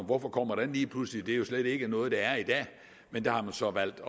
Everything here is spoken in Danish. hvorfor kommer den lige pludselig det er jo slet ikke noget der er i dag men der har man så valgt